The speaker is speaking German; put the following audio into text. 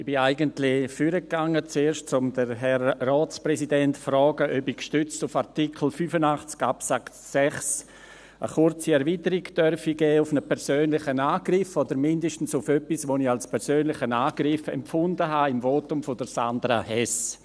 Ich bin eigentlich zuerst nach vorne gegangen, um den Herrn Ratspräsidenten zu fragen, ob ich gestützt auf Artikel 85 Absatz 6 der Geschäftsordnung des Grossen Rates (GO) eine kurze Erweiterung auf einen persönlichen Angriff – oder mindestens auf etwas, das ich im Votum von Sandra Hess als persönlichen Angriff empfunden habe – geben dürfe.